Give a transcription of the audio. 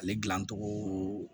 Ale dilancogo